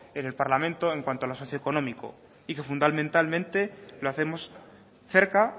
en el parlamento en cuanto a lo socioeconómico y que fundamentalmente lo hacemos cerca